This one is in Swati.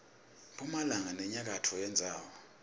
mphumalanga nenyakatfo yendzawo